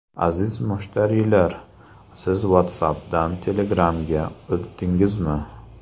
Aziz mushtariylar, siz WhatsApp’dan Telegram’ga o‘tdingizmi?